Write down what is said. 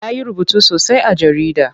Ya yi rubutu sosai a jarida.